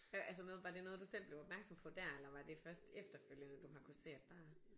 Øh altså noget var det noget du selv blev opmærksom på dér eller var det først efterfølgende du har kunne se at der